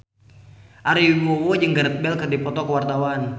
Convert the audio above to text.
Ari Wibowo jeung Gareth Bale keur dipoto ku wartawan